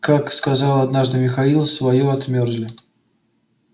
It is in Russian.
как сказал однажды михаил своё отмёрзли